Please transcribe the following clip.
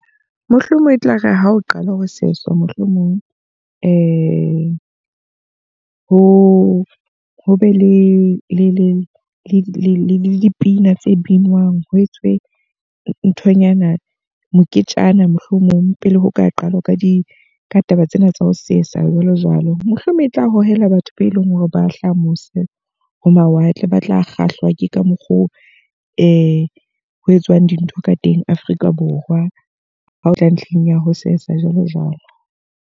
Mohlomong e tlare ha o qalwa ho seswa. Mohlomong ho ho be le dipina tse binwang, ho etswe nthonyana moketjana mohlomong pele ho ka qalwa ka di taba tsena tsa ho sesa jwalo jwalo. Mohlomong e tla hohela batho be leng hore ba hlaha mose ho mawatle. Ba tla kgahlwa ke ka mokgo ho etswang dintho ka teng Afrika Borwa, ha o tla ntlheng ya ho sesa jwalo jwalo.